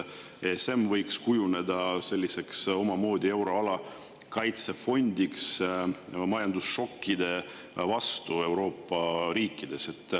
ESM võiks kujuneda euroala omamoodi kaitsefondiks majandusšokkide vastu Euroopa riikides.